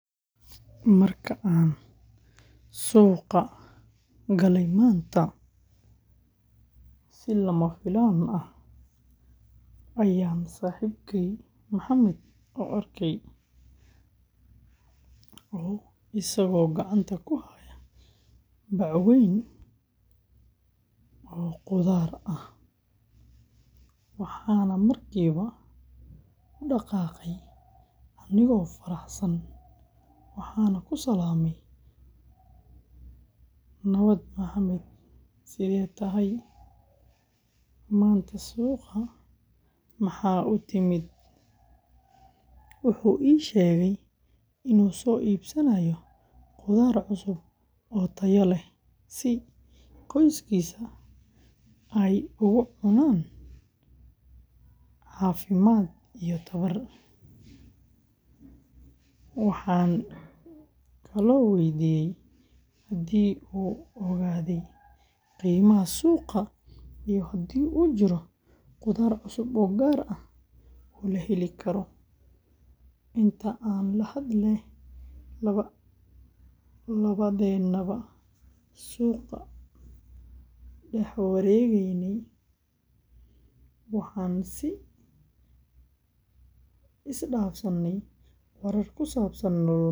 Marka aan suqa gale manta si lamafilaan ah aya saxibkey Mohamed arke asigo gacanta kuhaaya baac weyn oo qudaar ah waaxan markii ba udaqaqe anigo faraxsan waxan usalame nawaad Mohamed sethetahay manta suqa maxa utiimid wuxu iisheg inu so iibsaanayo qudaar taya leh si qoyskiisu ugu cunaan cafimad iyo tamar waxan kale oo weydiye hadi uu ogaade qimaha suqa ayu hadi uu jiro qudar cusub oo gaar oo laheli karo intaa aan lahadle lawadeydana ba suqa dax waregeyne waxa si isdaafsane qudar kusabsan.